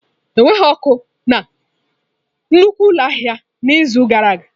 Enweghị ọkụ na nnukwu ụlọ ahịa n'izu gara aga.